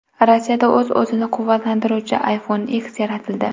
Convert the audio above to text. Rossiyada o‘z-o‘zini quvvatlantiruvchi iPhone X yaratildi .